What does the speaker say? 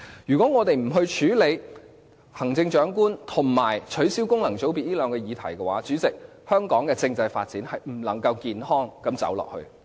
如果我們不處理行政長官和取消功能界別這兩個議題的話，主席，香港的政制發展是不能健康走下去。